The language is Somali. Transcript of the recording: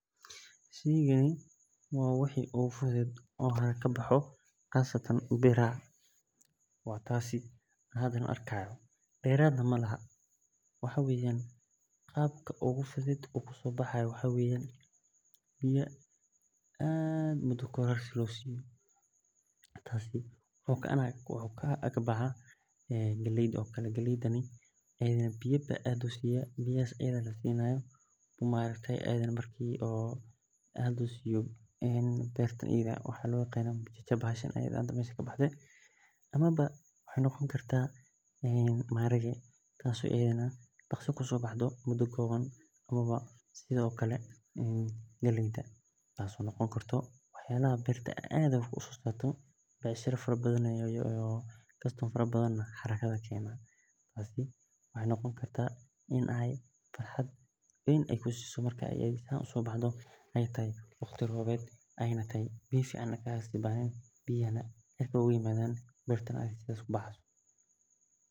Sheeygan waa waxa oguu fudeed o haalkani kabaxayo qaasataan beerahaa, waa taas hadan arkii hayo, deeraad nah maalaho, waxaa weyan qaabka oguu fudeed u kusobaxaayo waxaa weya biyaa aad miida kowaad hortaa si lo siiyo, taas wuxuu ka aagbaxaa galeeydaa, biya baan aad usiyaa, berta iyaada eh, beertan idaa eh mushiisha baa kabaxaa, amaaba wexee noqoonkartaa maaharage taaso idana daaqsi kusobaxdo ama muudaa koowan, amaaba galeydaa taso noqon karto wax yalahaa ee bertaa aad usosarto, beec sharaa faraa bathan ayey ledahaay, iyo customer fara badan, wexee sameyni kartaa in ee farxaad aad kusiso mark ee saan uso baxdo ine farxaad aad kusiso waqtii roob eyna tahay, biyahan fiican ee kasobaxayin, biyahaas o cirkaa oga imaadan, saas o dirtaa ee kubaxeyso.